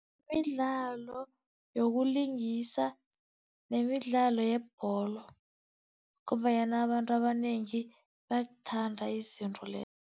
Midlalo yokulingisa nemidlalo yebholo, ngombanyana abantu abanengi bayakuthanda izinto lezo.